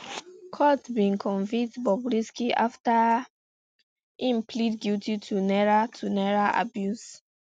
court bin convict bobrisky afta um im plead guilty to naira to naira abuse